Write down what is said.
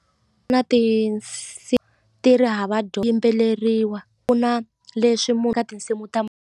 Ku na ti ri hava yimbeleriwa ku na leswi ka tinsimu ta.